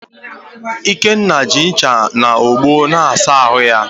Ikenna ji ncha na ogbo na-asa ahụ ya